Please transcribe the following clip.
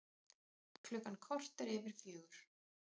Klukkan korter yfir fjögur